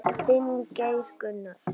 Þinn, Geir Gunnar.